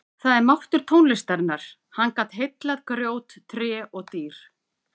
Það er máttur tónlistarinnar, hann gat heillað grjót, tré og dýr.